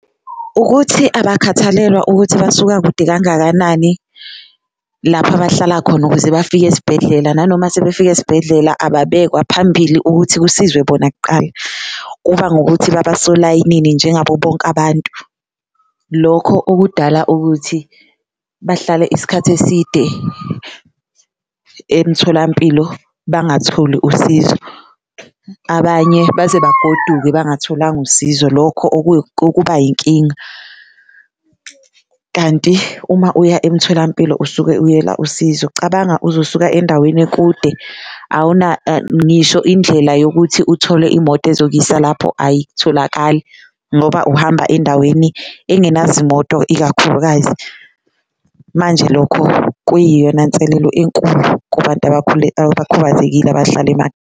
Ukuthi abakhathalelwa ukuthi basuka kude kangakanani lapho abahlala khona ukuze bafike esibhedlela, nanoma sebefika esibhedlela ababekwa phambili ukuthi kusizwe bona kuqala kuba ngokuthi baba solayinini njengabo bonke abantu, lokho okudala ukuthi bahlale isikhathi eside emtholampilo bangatholi usizo. Abanye baze bagoduke bangatholanga usizo lokho okuba yinkinga kanti uma uya emtholampilo usuke uyela usizo, cabanga uzosuka endaweni kude uwuna ngisho indlela yokuthi uthole imoto ezokuyisa lapho ayitholakali ngoba uhamba endaweni engenazo moto ikakhulukazi. Manje lokho kuyiyona nselelo enkulu kubantu abakhubazekile abahlala .